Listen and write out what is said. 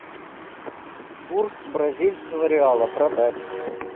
курс бразильского реала продать